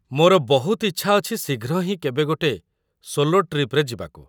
ମୋର ବହୁତ ଇଚ୍ଛା ଅଛି ଶୀଘ୍ର ହିଁ କେବେ ଗୋଟେ ସୋଲୋ ଟ୍ରିପ୍‌ରେ ଯିବାକୁ ।